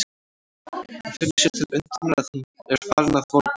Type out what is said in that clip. Hún finnur sér til undrunar að hún er farin að volgna.